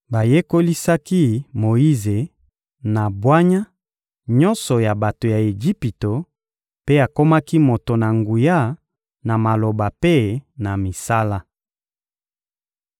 Bayekolisaki Moyize na bwanya nyonso ya bato ya Ejipito, mpe akomaki moto na nguya na maloba mpe na misala.